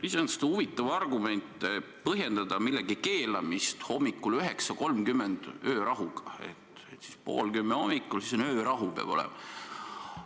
Iseenesest huvitav on põhjendada millegi keelamist hommikul kell 9.30 öörahuga, et pool kümme hommikul peab öörahu olema.